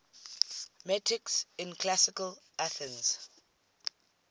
metics in classical athens